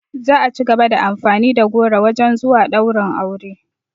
Za a cigaba da amfani da goro wajen zuwa ɗaurin aure